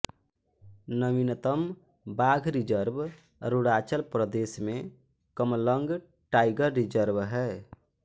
नवीनतम बाघ रिजर्व अरुणाचल प्रदेश में कमलंग टाइगर रिजर्व है